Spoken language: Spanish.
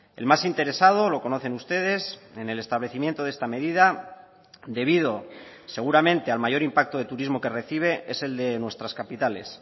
el más interesado lo conocen ustedes en el establecimiento de esta medida debido seguramente al mayor impacto de turismo que recibe es el de nuestras capitales